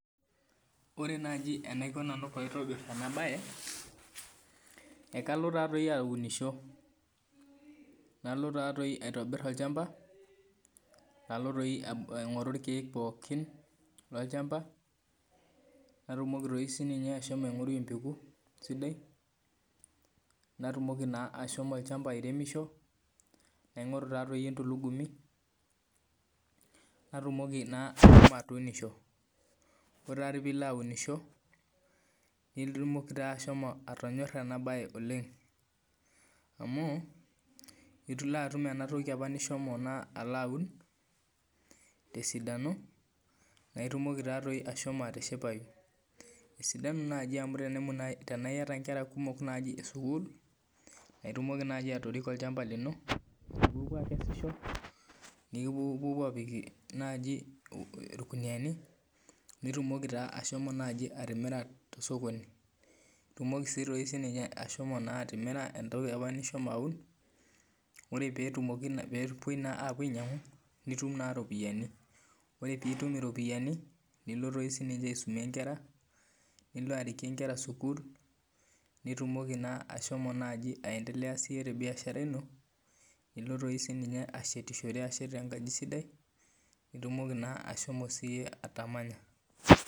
Ore naji enaiko nanu paitobir enabae, ekalo tatoi aunisho. Nalo tatoi aitobir olchamba, nalo toi aing'oru irkeek pookin lolchamba, natumoki toi sininye ashomo aing'oru empeku sidai, natumoki naa ashomo olchamba airemisho, naing'oru tatoi entulugumi, natumoki na ashomo atuunisho. Ore tatoi pilo aunisho, netumoki taa ashomo atonyorra enabae oleng. Amu, itulo atum enatoki apa nishomo naa alaun, tesidano, na itumoki tatoi ashomo atishipayu. Esidanu naji amu tenemu nai tenaa iyata nkera kumok naji esukuul, na itumoki naji atoriko olchamba lino, nipuopuo akesisho, nipuopuo apik naji irkuniyiani, nitumoki ta ashomo naji atimira tosokoni. Itumoki doi sininye ashomo naa atimira entoki apa nishomo aun, ore petumoki pepoi naa apuo ainyang'u, nitum naa ropiyiani. Ore pitum iropiyiani, nilo toi sininye aisumie inkera, nilo arikie nkera sukuul, nitumoki naa ashomo naji aendelea siye tebiashara ino, nilo toi sininye ashetishore ashet enkaji sidai, nitumoki naa ashomo siye atamanya.